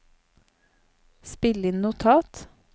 spill inn notat